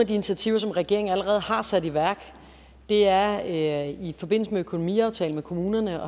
de initiativer som regeringen allerede har sat i værk er i forbindelse med økonomiaftalen med kommunerne